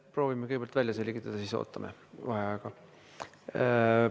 Proovime kõigepealt välja selgitada, ootame vaheajaga.